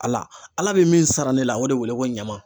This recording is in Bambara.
Ala , ala bɛ min sara ne la, o de wele ko ɲama.